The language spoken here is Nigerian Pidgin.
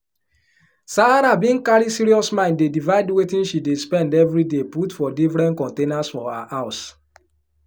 sarah bin carry serious mind dey divide wetin she dey spend every day put for diffren containers for her house